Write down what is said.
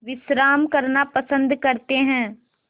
विश्राम करना पसंद करते हैं